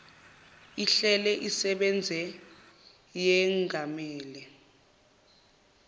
ihlele isebenze yengamele